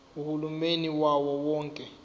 uhulumeni wawo wonke